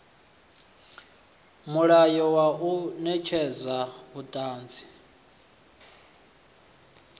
mulayo wa u netshedza vhuṱanzi